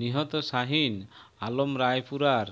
নিহত শাহীন আলম রায়পুরার